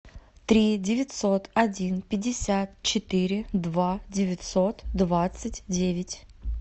три девятьсот один пятьдесят четыре два девятьсот двадцать девять